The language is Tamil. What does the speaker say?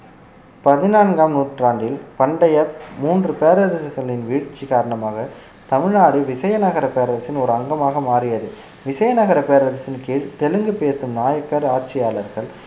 பதினான்காம் நூற்றாண்டில் பண்டைய மூன்று பேரரசர்களின் வீழ்ச்சி காரணமாக தமிழ்நாடு விசயநகரப் பேரரசின் ஒரு அங்கமாக மாறியது விசயநகரப் பேரரசின் கீழ் தெலுங்கு பேசும் நாயக்கர் ஆட்சியாளர்கள்